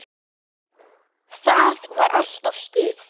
Það var alltaf stuð.